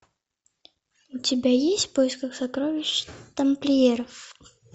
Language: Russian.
у тебя есть в поисках сокровищ тамплиеров